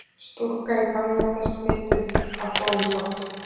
Stúlka í Bangladess smituð af bólusótt.